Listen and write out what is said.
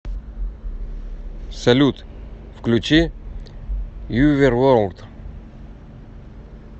салют включи юверворлд